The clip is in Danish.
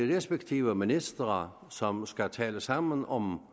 de respektive ministre som skal tale sammen om